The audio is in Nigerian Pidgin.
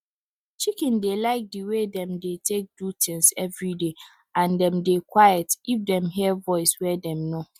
chicken dey like di wey dem dey take do tins everyday and dem dey dey quiet if dem hear voice wey dem know